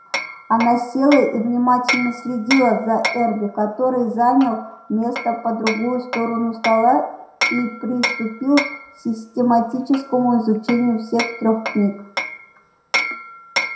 она села и внимательно следила за эрби который занял место по другую сторону стола и приступил к систематическому изучению всех трёх книг